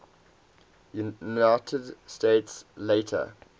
united states later